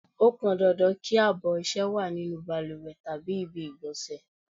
Ó pọn dandan kí abọ̀ ọṣẹ wá nínú bàlùwẹ̀ tàbí ibi ìgbọ̀nsẹ̀.